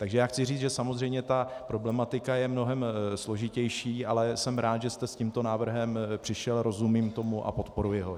Takže já chci říct, že samozřejmě ta problematika je mnohem složitější, ale jsem rád, že jste s tímto návrhem přišel, rozumím tomu a podporuji ho.